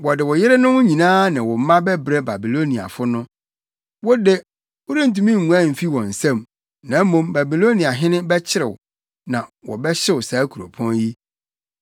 “Wɔde wo yerenom nyinaa ne wo mma bɛbrɛ Babiloniafo no. Wo de, worentumi nguan mfi wɔn nsam, na mmom Babiloniahene bɛkyere wo, na wɔbɛhyew saa kuropɔn yi.”